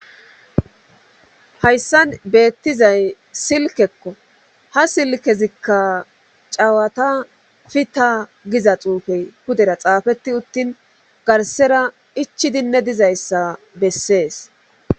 Hayssan beetizay silkekko ha silkezikka cewata fita giza xuufe pudera xaafetti uttin garssera ichidinne dizayssa bessees.